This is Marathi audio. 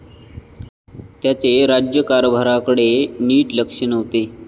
त्याचे राज्यकारभारकडे नीट लक्ष नव्हते.